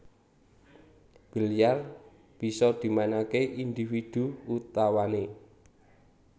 Bilyar bisa dimainake individu utawane